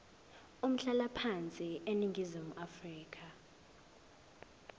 umhlalaphansi eningizimu afrika